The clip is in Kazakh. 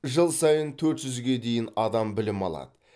жыл сайын төрт жүзге дейін адам білім алады